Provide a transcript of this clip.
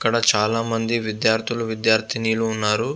ఇక్కడ చాలామంది విధ్యార్ధులు విధ్యార్ధినులు ఉన్నరు.